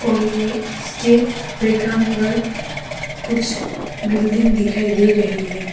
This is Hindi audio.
और ये इसके बैग्राउंड पर कुछ बिल्डिंग दिखाई दे रही है।